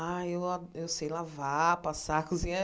Ah, eu ó eu sei lavar, passar, cozinhar.